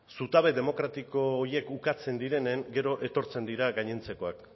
zutabe demokratiko horiek ukatzen direnean gero etortzen dira gainontzekoak